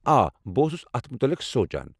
آ، بہٕ اوسُس اتھ متعلق سونٛچان۔